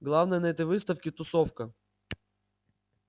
главное на этой выставке тусовка